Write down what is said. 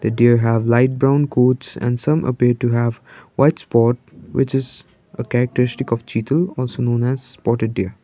deer have light brown and some appear to have white spot which is a characteristic of cheetal also known as spotted deer.